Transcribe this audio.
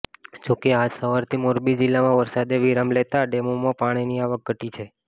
જોકે આજ સવારથી મોરબી જિલ્લામાં વરસાદે વિરામ લેતા ડેમોમાં પાણીની આવક ઘટી છે